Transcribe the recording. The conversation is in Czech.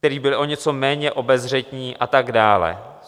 Kteří byli o něco méně obezřetní a tak dále.